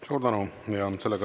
Suur tänu!